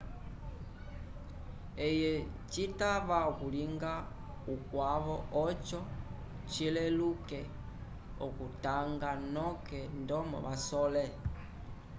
eye citava okulinga ukwavo oco cileluke oku tanga noke ndomo vasole